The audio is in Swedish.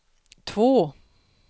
två